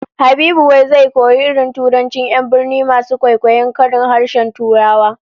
Habibu wai zai koyi irin turancin 'yan birni masu kwaikwayon karin harshen Turawa